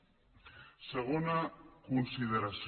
segona consideració